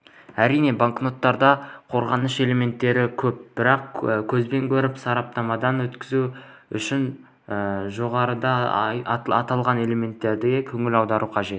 әрине банкноттарда қорғаныш элементтері көп бірақ көзбен көріп сараптамадан өткізу үшін жоғарыда аталған элементтерге көңіл аударудың